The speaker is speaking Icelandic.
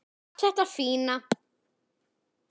Allt þetta fína.